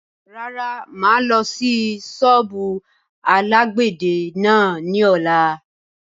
Rárá, máa lọ sí sọ́ọ́bù alàgbẹ̀dẹ náà ni ọ̀la.